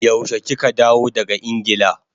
Yaushe kika dawo daga Ingila?